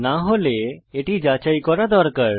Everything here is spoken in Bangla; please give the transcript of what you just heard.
না হলে এটি যাচাই করা দরকার